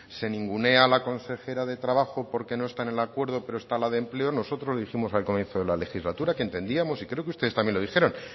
se ningunea a la consejera de trabajo porque no está en el acuerdo pero está la de empleo nosotros dijimos al comienzo de la legislatura que entendíamos y creo que ustedes también los dijeron